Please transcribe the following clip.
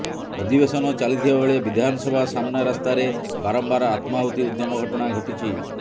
ଅଧିବେଶନ ଚାଲିଥିବା ବେଳେ ବିଧାନସଭା ସାମନା ରାସ୍ତାରେ ବାରମ୍ବାର ଆତ୍ମାହୂତି ଉଦ୍ୟମ ଘଟଣା ଘଟିଛି